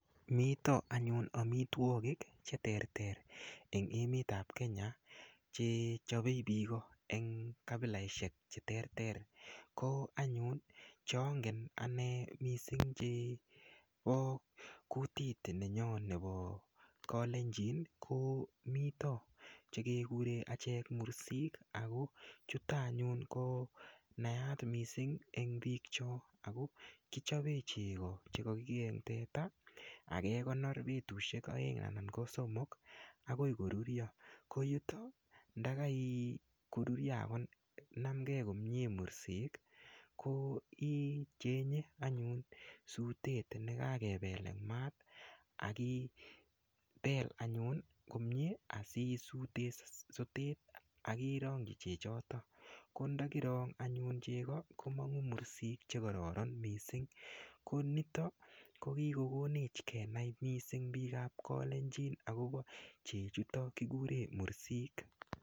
Mito anyun amitwokik che terter eng emet ap Kenya che chopei piko eng kabilaishek che terter ko anyun chongen ane mising chepo kutiit nenyoo nepo kolenjini ko mito chekekure achek mursik ako chuto anyun ko naat mising eng piik cho ako kichopee cheko chekakikee eng teta akekonor betushek oeng anan ko somok akoi korurio koyuto ndakakorurio ako namkee komie koek mursik ko ichenye anyun sutet nekakepel eng maat akipel anyun komie asisute sotet akirongchi chechoto ko ndakirong anyun cheko komongu mursik chekororon mising konito ko kikokonech kenai mising piik ap kolenjini akopo chechuto kikuren mursik.